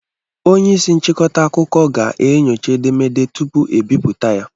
Onye isi nchịkọta akụkọ ga-enyocha edemede tupu ebipụta ya.